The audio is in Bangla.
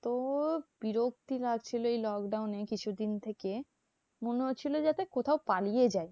এতো বিরক্তি লাগছিল এই lockdown এ কিছু দিন থেকে মনে হচ্ছিলো যাতে কোথাও পালিয়ে যাই।